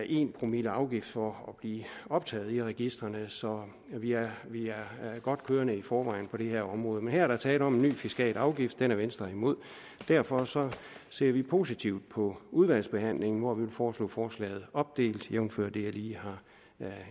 en promille afgift for at blive optaget i registrene så vi er godt kørende i forvejen på det her område men her er der tale om en ny fiskal afgift den er venstre imod derfor ser vi positivt på udvalgsbehandlingen hvor vi vil foreslå forslaget opdelt jævnfør det jeg lige har